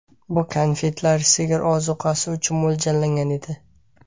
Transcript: Bu konfetlar sigirlar ozuqasi uchun mo‘ljallangan edi.